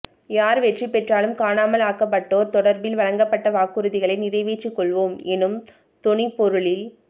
யார் வெற்றி பெற்றாலும் காணாமல் ஆக்கப்பட்டோர் தொடர்பில் வழங்கப்பட்ட வாக்குறுதிகளை நிறைவேற்றிக் கொள்வோம் எனும் தொனிப் பொருளில்